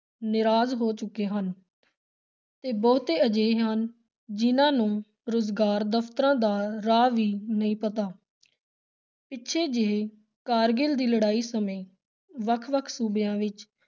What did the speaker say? ਨਿਰਾਸ਼ ਹੋ ਚੁੱਕੇ ਹਨ ਤੇ ਬਹੁਤੇ ਅਜਿਹੇ ਹਨ, ਜਿਨ੍ਹਾਂ ਨੂੰ ਰੁਜ਼ਗਾਰ ਦਫ਼ਤਰਾਂ ਦਾ ਰਾਹ ਵੀ ਨਹੀਂ ਪਤਾ ਪਿੱਛੇ ਜਿਹੇ ਕਾਰਗਿਲ ਦੀ ਲੜਾਈ ਸਮੇਂ ਵੱਖ-ਵੱਖ ਸੂਬਿਆਂ ਵਿਚ